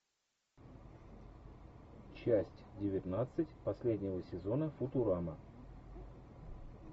часть девятнадцать последнего сезона футурама